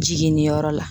Jiginniyɔrɔ la